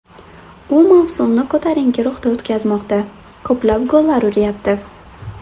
U mavsumni ko‘tarinki ruhda o‘tkazmoqda, ko‘plab gollar uryapti.